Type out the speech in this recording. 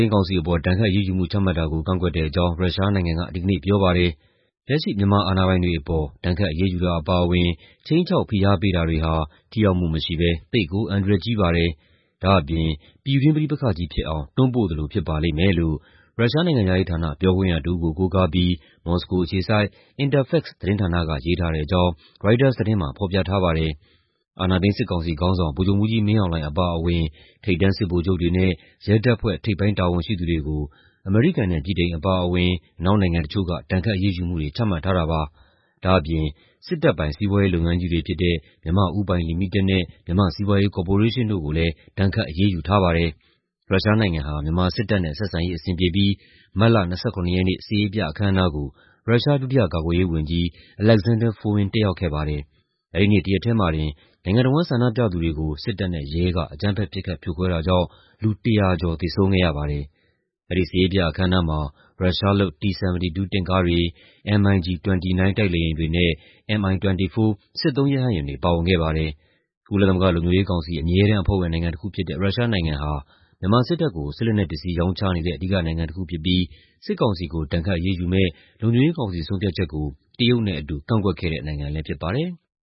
မ်းကောင်စီအပေါ် ဒဏ်ခတ်အရေးယူမှု ချမှတ်တာကို ကန့်ကွက်တဲ့အကြောင်း ရုရှားနိုင်ငံက ဒီကနေ့ပြောပါတယ်။ "လက်ရှိ မြန်မာအာဏာပိုင်တွေအပေါ် ဒဏ်ခတ်အရေးယူတာအပါအဝင် ခြိမ်းခြောက်ဖိအားပေးတာတွေဟာ ထိရောက်မှုမရှိဘဲ သိပ်ကို အန္တရာယ်ကြီးပါတယ်။ ဒါ့အပြင် ပြည်တွင်းပဋိပက္ခကြီးဖြစ်အောင် တွန်းပို့သလိုဖြစ်ပါလိမ့်မယ်။" လို့ ရုရှားနိုင်ငံခြားရေးဌာန ပြောခွင့်ရတစ်ဦးကို ကိုးကားပြီး မော်စကိုအခြေစိုက် Interfax သတင်းဌာနက ရေးထားတဲ့အကြောင်း ရိုက်တာသတင်းမှာ ဖော်ပြထားပါတယ်။ အာဏာသိမ်း စစ်ကောင်စီခေါင်းဆောင် ဗိုလ်ချုပ်မှူးကြီးမင်းအောင်လှိုင်အပါအဝင် ထိပ်တန်း စစ်ဗိုလ်ချုပ်တွေနဲ့ ရဲတပ်ဖွဲ့ ထိပ်ပိုင်းတာဝန်ရှိသူတွေကို အမေရိကန်နဲ့ ဗြိတိန်အပါအဝင် အနောက်နိုင်ငံတချို့က ဒဏ်ခတ်အရေးယူမှုတွေ ချမှတ်ထားတာပါ။ ဒါ့အပြင် စစ်တပ်ပိုင် စီးပွားရေးလုပ်ငန်းကြီးတွေဖြစ်တဲ့ မြန်မာ့ဦးပိုင်လီမိတက်နဲ့ မြန်မာ့စီးပွားရေးကော်ပိုရေးရှင်းတို့ကိုလည်း ဒဏ်ခတ်အရေးယူထားပါတယ်။ ရုရှားနိုင်ငံဟာ မြန်မာစစ်တပ်နဲ့ ဆက်ဆံရေးအဆင်ပြေပြီး မတ်လ ၂၇ ရက်နေ့ စစ်ရေးပြအခမ်းအနားကို ရုရှားဒုတိယကာကွယ်ရေးဝန်ကြီး Alexander Fomin တက်ရောက်ခဲ့ပါတယ်။ အဲဒီနေ့တရက်ထဲမှာတင် နိုင်ငံတဝန်းဆန္ဒပြသူတွေကို စစ်တပ်နဲ့ ရဲက အကြမ်းဖက် ပစ်ခတ်ဖြိုခွဲတာကြောင့် လူ ၁၀၀ ကျော် သေဆုံးခဲ့ရပါတယ်။ အဲဒီစစ်ရေးပြအခမ်းအနားမှာ ရုရှားလုပ် T-72 တင့်ကားတွေ၊ MiG-29 တိုက်လေယာဉ်တွေနဲ့ Mi-24 စစ်သုံးရဟတ်ယာဉ်တွေ ပါဝင်ခဲ့ပါတယ်။ ကုလသမဂ္ဂလုံခြုံရေးကောင်စီ အမြဲတမ်းအဖွဲ့ဝင်နိုင်ငံတစ်ခုဖြစ်တဲ့ ရုရှားနိုင်ငံဟာ မြန်မာစစ်တပ်ကို စစ်လက်နက်ပစ္စည်းရောင်းချနေတဲ့ အဓိကနိုင်ငံတစ်ခုဖြစ်ပြီး စစ်ကောင်စီကို ဒဏ်ခတ်အရေးယူမယ့် လုံခြုံရေးကောင်စီ ဆုံးဖြတ်ချက်ကို တရုတ်နဲ့အတူ ကန့်ကွက်ခဲ့တဲ့နိုင်ငံလည်းဖြစ်ပါတယ်။